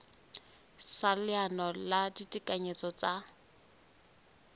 sa leano la ditekanyetso tsa